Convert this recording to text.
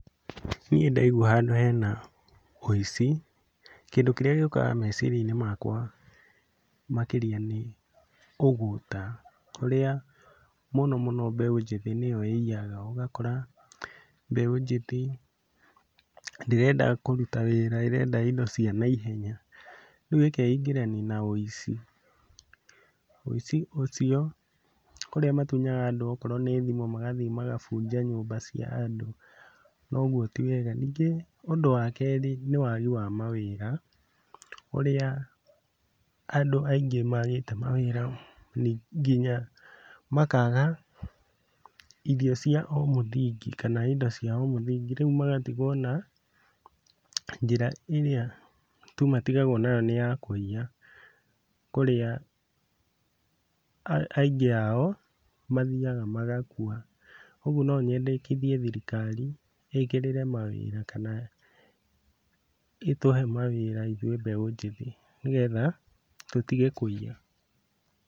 Niĩ ndaigua handũ hena wũici, kĩndũ kĩrĩa gĩũkaga meciria-inĩ makwa makĩria nĩ ũgũta ũrĩa mũno mũno mbeũ njĩthĩ nĩyo ĩiyaga ũgakora mbeũ njĩthĩ ndĩrenda kũruta wĩra ĩrenda indo cia naihenya, rĩu ĩkeingĩrania na wĩici. Wũici ũcio kũrĩa matunyaga andũ okorwo nĩ thimũ magathiĩ magabunja nyũmba cia andũ, na ũguo ti wega. Ningĩ ũndũ wa kerĩ nĩ wagi wa mawĩra, ũrĩa andũ aingĩ magĩte mawĩra nginya makaga irio cia o mũthingi kana indo cia o mũthingi rĩu magatigwo na njĩra ĩrĩa tu matigagwo nayo nĩ ya kũiya, kũrĩa aingĩ ao mathiaga magakua, ũguo no nyendekithie thirikari ĩkĩrĩre mawĩra kana ĩtũhe mawĩra ithuĩ mbeũ njĩthĩ nĩgetha tũtige kũiya.